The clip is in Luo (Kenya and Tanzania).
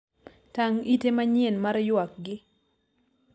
tang' ite manyien mar ywakgi